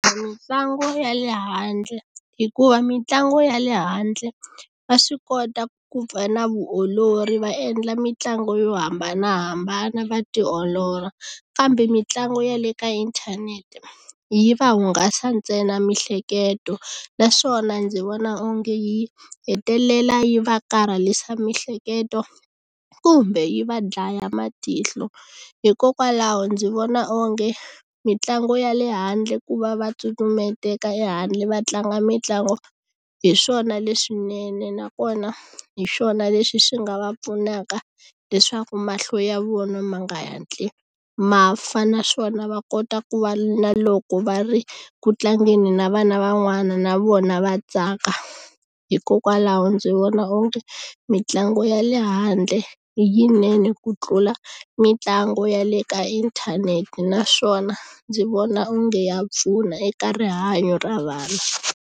Mitlangu ya le handle hikuva mitlangu ya le handle va swi kota ku pfa na vuolori va endla mitlangu yo hambanahambana va tiolola kambe mitlangu ya le ka inthanete yi va hungasa ntsena miehleketo naswona ndzi vona onge yi hetelela yi va karhalisa mihleketo kumbe yi va dlaya matihlo hikokwalaho ndzi vona onge mitlangu ya le handle ku va va ehandle va tlanga mitlangu hi swona leswinene nakona hi swona leswi swi nga va pfunaka leswaku mahlo ya vona ma nga hatli ma fana naswona va kota ku va na loko va ri ku tlangeni na vana van'wana na vona va tsaka hikokwalaho ndzi vona onge mitlangu ya le handle i yinene ku tlula mitlangu ya le ka inthanete naswona ndzi vona onge ya pfuna eka rihanyo ra vanhu.